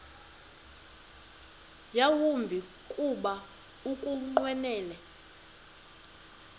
yawumbi kuba ukunqwenela